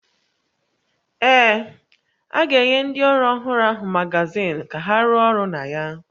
Ee, a ga-enye ndị ọrụ ọhụrụ ahụ magazin ka ha rụọ ọrụ na ya